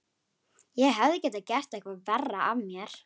Ég hefði getað gert eitthvað verra af mér.